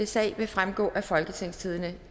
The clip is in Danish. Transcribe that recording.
sag vil fremgå af folketingstidende